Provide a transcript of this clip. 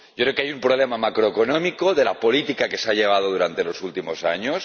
Yo creo que hay un problema macroeconómico de la política que se ha llevado a cabo durante los últimos años